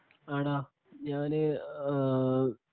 ആട ഞാന് ആ